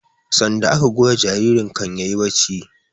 Sarda aka goya jaririn kan yayi barci